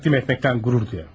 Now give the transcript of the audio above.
Təqdim etməkdən qürur duyaram.